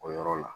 O yɔrɔ la